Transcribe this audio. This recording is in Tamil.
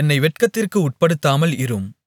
என்னை வெட்கத்திற்கு உட்படுத்தாமல் இரும்